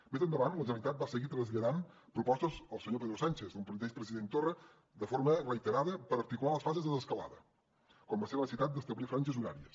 més endavant la generalitat va seguir traslladant propostes al senyor pedro sánchez el mateix president torra de forma reiterada per articular les fases de desescalada com va ser la necessitat d’establir franges horàries